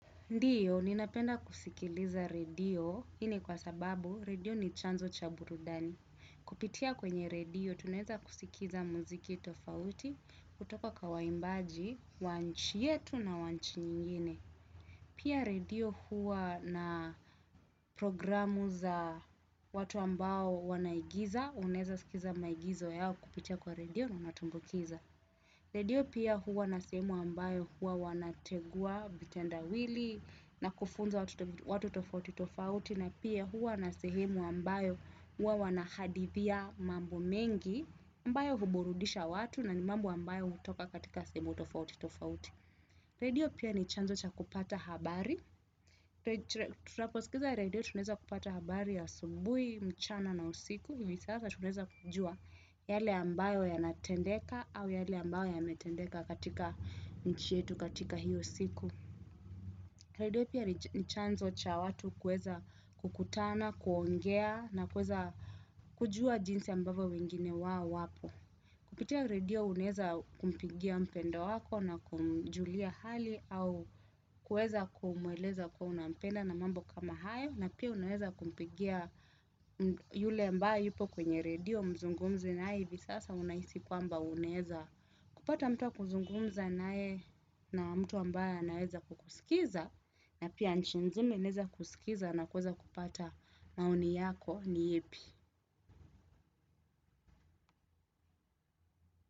Ndio, nina penda kusikiliza radio, hii ni kwa sababu radio ni chanzo cha burudani. Kupitia kwenye radio, tunaweza kusikiliza mziki tofauti kutoka kwa waimbaji, wa nchi yetu na wa nchi nyingine. Pia radio hua na programu za watu ambao wanaigiza, unaweza sikiza maigizo yao kupitia kwa radio na natumbukiza. Radio pia huwa na sehemu ambayo huwa wana tegua vitenda wili na kufunza watu tofauti tofauti na pia huwa na sehemu ambayo huwa wanahadithia mambo mengi ambayo huburudisha watu na ni mambo ambayo hutoka katika sehemu tofauti tofauti. Radio pia ni chanzo cha kupata habari, tutaposikiza radio tuneza kupata habari ya asubuhi, mchana na usiku, hivi sasa tuneza kujua yale ambayo yanatendeka au yale ambayo yametendeka katika nchi yetu katika hiyo siku. Redio pia nchanzo cha watu kuweza kukutana, kuongea na kueza kujua jinsi ambavyo wengine wao wapo. Kupitia redio unaweza kumpigia mpendwa wako na kumjulia hali au kuweza kumweleza kuwa unampenda na mambo kama hayo. Na pia uneza kumpigia yule ambae yupo kwenye redio mzungumze nae hivi sasa unahisi kwamba unaweza. Kupata mtu wa kuzungumza nae na mtu ambae anaweza kukusikiza na pia nchi mzima inaweza kusikiza na kuweza kupata maoni yako ni yepi.